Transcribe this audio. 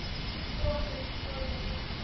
Brosir, góður með sig.